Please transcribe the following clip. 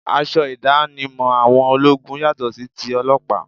Aṣọ ìdánimọ̀ àwọn ológun yàtọ sí tí ọlọ́pàá